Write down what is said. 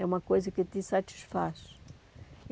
É uma coisa que te satisfaz.